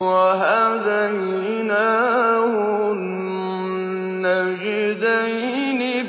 وَهَدَيْنَاهُ النَّجْدَيْنِ